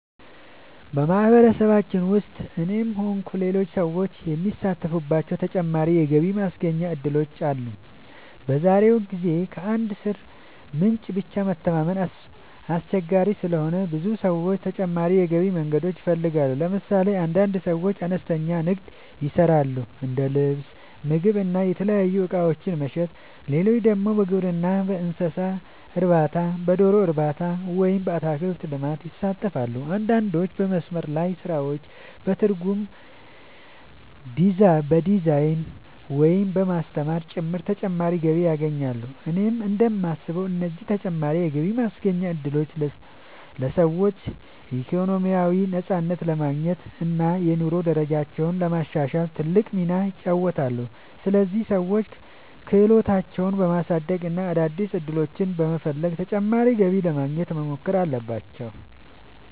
በማህበረሰባችን ውስጥ እኔም ሆንኩ ሌሎች ሰዎች የሚሳተፉባቸው ተጨማሪ የገቢ ማስገኛ እድሎች አሉ። በዛሬው ጊዜ ከአንድ የሥራ ምንጭ ብቻ መተማመን አስቸጋሪ ስለሆነ ብዙ ሰዎች ተጨማሪ የገቢ መንገዶችን ይፈልጋሉ። ለምሳሌ አንዳንድ ሰዎች አነስተኛ ንግድ ይሰራሉ፤ እንደ ልብስ፣ ምግብ ወይም የተለያዩ እቃዎች መሸጥ። ሌሎች ደግሞ በግብርና፣ በእንስሳት እርባታ፣ በዶሮ እርባታ ወይም በአትክልት ልማት ይሳተፋሉ። አንዳንዶች በመስመር ላይ ስራዎች፣ በትርጉም፣ በዲዛይን፣ ወይም በማስተማር ጭምር ተጨማሪ ገቢ ያገኛሉ። እኔ እንደማስበው እነዚህ ተጨማሪ የገቢ ማስገኛ እድሎች ለሰዎች ኢኮኖሚያዊ ነፃነት ለማግኘት እና የኑሮ ደረጃቸውን ለማሻሻል ትልቅ ሚና ይጫወታሉ። ስለዚህ ሰዎች ክህሎታቸውን በማሳደግ እና አዳዲስ ዕድሎችን በመፈለግ ተጨማሪ ገቢ ለማግኘት መሞከር አለባቸው።